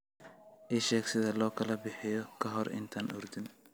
ii sheeg sida loo kala bixiyo ka hor intaanan ordin